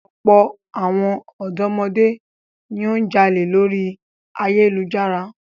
Ọ̀pọ̀ àwọn ọ̀dọ́mọdé ni ó ń jalè lórí ayélujára.